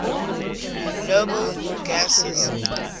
noble gases